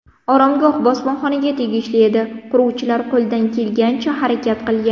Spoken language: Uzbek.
Oromgoh bosmaxonaga tegishli edi, quruvchilar qo‘ldan kelgancha harakat qilgan.